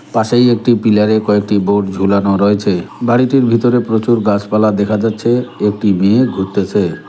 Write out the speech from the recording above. পাশেই একটি পিলার -এ কয়েকটি বোর্ড ঝুলানো রয়েছে বাড়িটির ভিতরে প্রচুর গাসপালা দেখা যাচ্ছে একটি মেয়ে ঘুরতেসে।